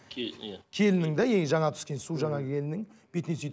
келіннің де и жаңа түскен су жаңа келіннің бетінен сүйді